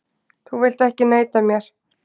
Þú vilt ekki neita mér.